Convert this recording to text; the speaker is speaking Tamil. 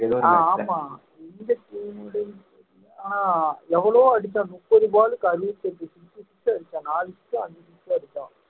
ஆமா ஆஹ் எவ்வளவோ அடிச்சான் முப்பது ball க்கு அறுபத்தெட்டு six அடிச்சான் நாலு six ஓ ஐந்து six ஓ அடிச்சான்